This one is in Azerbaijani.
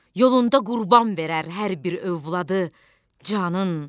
Yolunda qurban verər hər bir övladı canın.